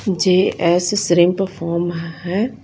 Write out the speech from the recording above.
GS shrimp का form है।